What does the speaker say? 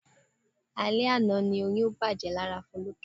Alẹ àná ni oyún bàjẹ́ lára Foluke.